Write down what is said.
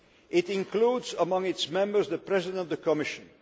It includes among its members the President of the Commission.